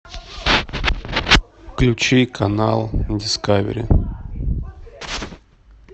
включи канал дискавери